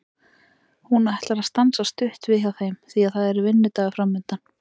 Hún ætlar að stansa stutt við hjá þeim því að það er vinnudagur framundan.